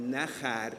Nachher!